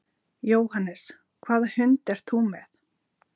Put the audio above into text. Jóhannes: Hvaða hund ert þú með?